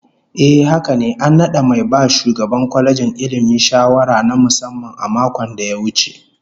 Ehh haka ne, an nada mai ba shugaban kwalejin Ilmi shawara na musamman a makon da ya wuce